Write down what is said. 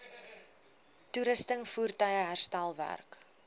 toerusting voertuie herstelwerk